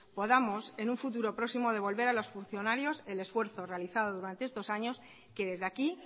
podamos en un futuro próximo devolver a los funcionarios el esfuerzo realizado durante estos años que desde aquí